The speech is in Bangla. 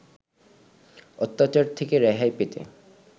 অত্যাচার থেকে রেহাই পেতে